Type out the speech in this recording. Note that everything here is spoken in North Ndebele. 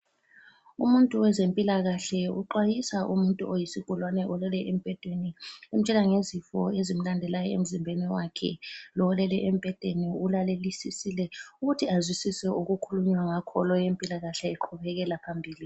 Umuntu wezempilakahle uxwayisa umuntu oyisigulane olele embhedeni umtshela ngezifo ezimlandela emzimbeni wakhe ,lo olele embhedeni ulalelisisile ukuze azwisise okukhulunywa ngakho lo owempilakahle eqhubekela phambili